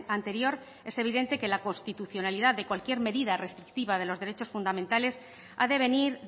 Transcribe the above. anterior es evidente que la constitucionalidad de cualquier medida restrictiva de los derechos fundamentales ha de venir